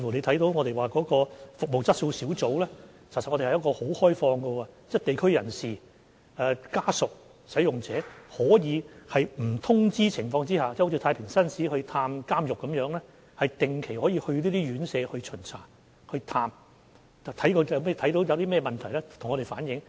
大家可看到，服務質素小組其實是持非常開放的態度的，地區人士、服務使用者及其家屬均可在不作預先通知的情況下，好像太平紳士探訪監獄般，到那些院舍巡查和探訪，如看到任何問題便可向我們反映。